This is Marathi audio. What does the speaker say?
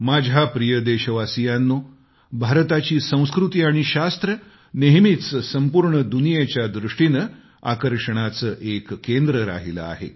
माझ्या प्रिय देशवासियांनो भारताची संस्कृती आणि शास्त्र नेहमीच संपूर्ण दुनियेच्या दृष्टीने आकर्षणाचं एक केंद्र आहे